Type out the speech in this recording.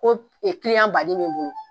Ko o baaden b'u bolo